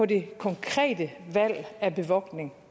det konkrete valg af bevogtning